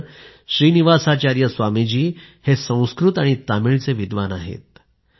खरंतर श्री निवासाचार्य स्वामी जी संस्कृत आणि तामिळचे विद्वान आहेत